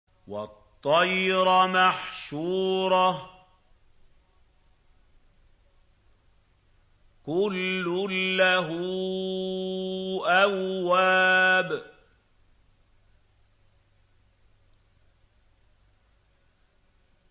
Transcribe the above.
وَالطَّيْرَ مَحْشُورَةً ۖ كُلٌّ لَّهُ أَوَّابٌ